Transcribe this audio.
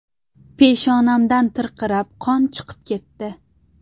Peshonamdan tirqirab qon chiqib ketdi.